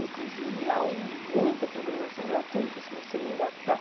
Inclusive, há muita programação gratuita, você não precisa nem gastar.